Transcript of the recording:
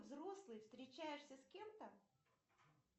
взрослый встречаешься с кем то